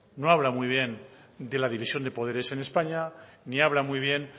no habla muy bien de la división de poderes en españa ni habla muy bien